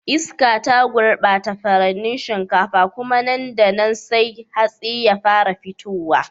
Iska ta gurbata furannin shinkafa, kuma nan da nan sai hatsi ya fara fitowa.